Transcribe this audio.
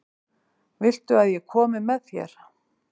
Viltu að ég komi með þér?